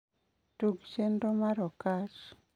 Tug chenro mar Okach.